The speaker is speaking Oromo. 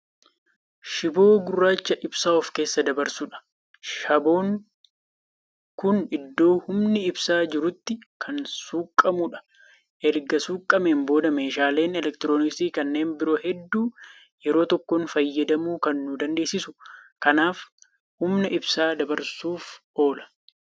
Shiboo gurracha ibsaa of keessa dabarsuudha. shaboon Kuni iddoo humni ibsaa jirutti Kan suuqamudha. erga suuqameen booda meeshaaleen elektirooniksii kanneen biroo hedduu yeroo tokkoon fayyadamuu Kan nu dandeessisuudha. kanaaf humna ibsaa dabarsuuf oola.